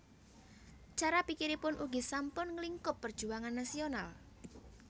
Cara pikiripun ugi sampun nglingkup perjuangan nasional